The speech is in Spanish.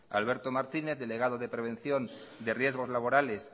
alberto martínez delegado de prevención de riesgos laborales